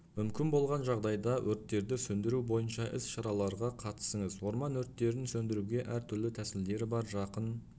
мүмкін болған жағдайда өрттерді сөндіру бойынша іс-шараларға қатысыңыз орман өрттерін сөндіруге әр-түрлі тәсілдері бар жақын